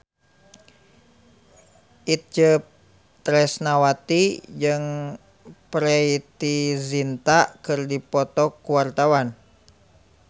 Itje Tresnawati jeung Preity Zinta keur dipoto ku wartawan